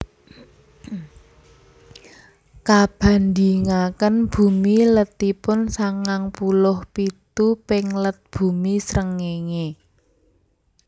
Kabandhingaken Bumi letipun sangang puluh pitu ping let Bumi Srengéngé